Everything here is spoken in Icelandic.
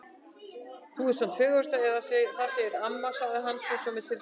Þú ert nú samt fegurstur eða það segir amma sagði hann svo með tilfinningahita.